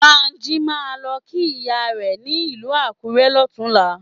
Bánjí máa lọ kí ìyá rẹ̀ ní ìlú Akurẹ lọ́tùnlá.